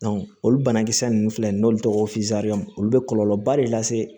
olu banakisɛ nunnu filɛ nin ye n'olu tɔgɔ ye olu be kɔlɔlɔba de lase